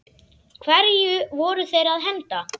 Hverju voru þeir að henda?